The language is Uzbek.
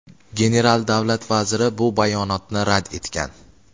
general Davlat Vaziri bu bayonotni rad etgan.